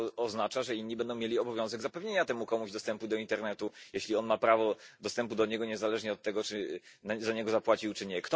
To oznacza, że inni będą mieli obowiązek zapewnienia temu komuś dostępu do internetu, jeśli on ma prawo dostępu do niego niezależnie od tego, czy za niego zapłacił czy nie.